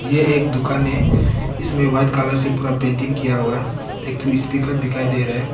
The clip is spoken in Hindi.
ये एक दुकान है इसमें वाइट कलर से पूरा पेंटिंग किया हुआ है एक ठो स्पीकर दिखाई दे रहा है।